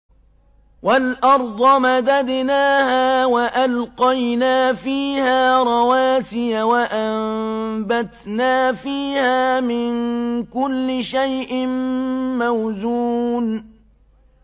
وَالْأَرْضَ مَدَدْنَاهَا وَأَلْقَيْنَا فِيهَا رَوَاسِيَ وَأَنبَتْنَا فِيهَا مِن كُلِّ شَيْءٍ مَّوْزُونٍ